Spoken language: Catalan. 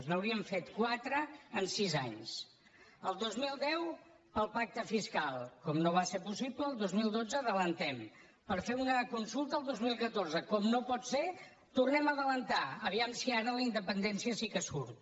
n’hauríem fet quatre en sis anys el dos mil deu pel pacte fiscal com no va ser possible el dos mil dotze les avancem per fer una consulta el dos mil catorze com no pot ser les tornem a avançar a veure si ara la independència sí que surt